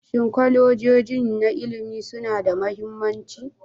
Shin kolejoji na ilimi suna da mahimmanci?